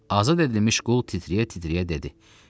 Azad edilmiş qul titrəyə-titrəyə dedi: